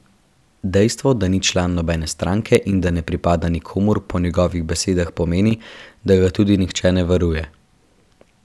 Dejstvo, da ni član nobene stranke in da ne pripada nikomur, po njegovih besedah pomeni, da ga tudi nihče ne varuje.